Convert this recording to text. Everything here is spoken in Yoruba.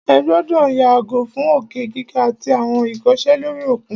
Ẹ gbọ́dọ̀ yàgò fún òkè gíga àtí àwọn ìkọsẹ̀ lóri òkun!